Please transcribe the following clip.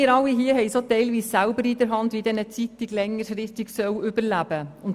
Ergo haben wir alle es teilweise auch selber in der Hand, wie eine Zeitung längerfristig überleben soll.